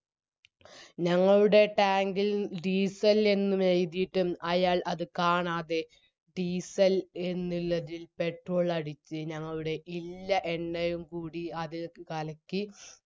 ഞങ്ങളുടെ tank ഇൽ diesel എന്നും എയ്തിയിട്ടും അയാൾ അത് കാണാതെ diesel എന്നില്ലതിൽ petrol അടിച്ച് ഞങ്ങളുടെ ഇല്ല എണ്ണയും കൂടി അതിലേക്ക് കലക്കി